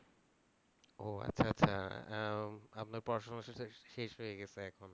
ও আচ্ছা আচ্ছা আহ আপনার পড়াশুনা শেষ, শেষ হয়ে গেছে এখন?